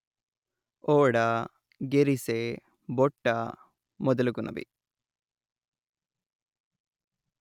ఓడ/గెరిసె /బొట్ట మొదలగునవి